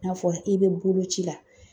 N'a fɔra i bɛ boloci la